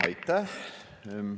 Aitäh!